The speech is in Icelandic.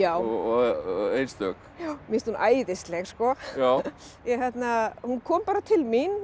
og einstök mér finnst hún æðisleg sko hún kom bara til mín